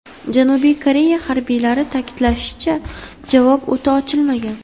Janubiy Koreya harbiylari ta’kidlashicha, javob o‘ti ochilmagan.